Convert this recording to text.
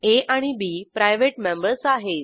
आ आणि B private members आहेत